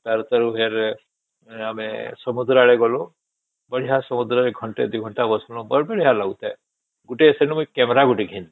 ତାର ତେରୁ ଫେର ଆମେ ସମୁଦ୍ର ଆଡେ ଗଲୁ ବଢିଆ ସମୁଦ୍ର ରେ ଘଣ୍ଟେ ଦୁଇ ଘଣ୍ଟା ବସିଲୁ ବହୁତ ବଢିଆ ଲାଗୁଥାଏ ଗୋଟେ ଵେନୁ camera ଗୋଟେ ଘିନିସେ